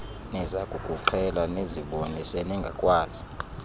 nizakukuqhela nizibone seningakwazi